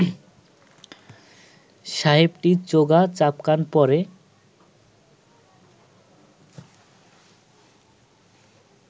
সাহেবটি চোগা চাপকান পরে